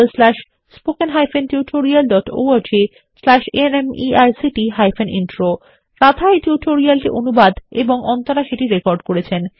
httpspoken tutorialorgNMEICT Intro রাধাএই tutorial টি অনুবাদ এবং অন্তরা সেটিরেকর্ড করেছেন